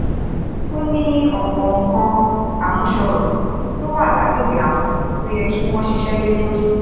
ó ní ọ̀pọ̀ nǹkan àmúṣọrọ̀ ló wà lágbègbè àwọn tó yẹ kí wọ́n ṣiṣẹ́ lé lórí